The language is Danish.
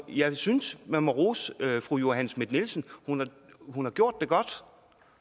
jeg synes man må rose fru johanne schmidt nielsen hun har gjort det godt